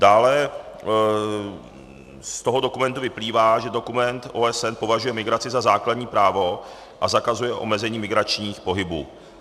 Dále z toho dokumentu vyplývá, že dokument OSN považuje migraci za základní právo, a zakazuje omezení migračních pohybů.